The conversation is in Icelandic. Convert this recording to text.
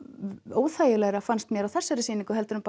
óþægilegra fannst mér á þessari sýningu heldur en